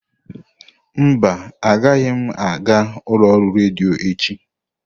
Mba, agaghị m aga ụlọ ọrụ redio echi.